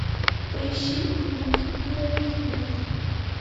поищи внук нурарихена